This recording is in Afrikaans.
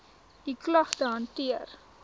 u klagte hanteer